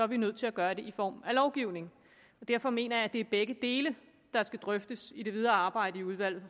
vi nødt til at gøre det i form af lovgivning derfor mener jeg at det er begge dele der skal drøftes i det videre arbejde i udvalget